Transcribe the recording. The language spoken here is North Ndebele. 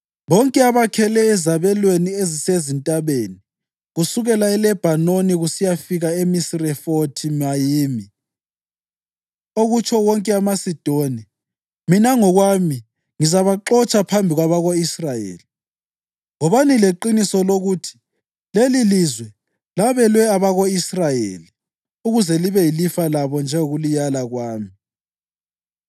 Bonke abakhele ezabelweni ezisezintabeni kusukela eLebhanoni kusiya eMisirefothi-Mayimi, okutsho wonke amaSidoni, mina ngokwami ngizabaxotsha phambi kwabako-Israyeli. Wobani leqiniso lokuthi lelilizwe labelwe abako-Israyeli ukuze libe yilifa labo njengokulilaya kwami,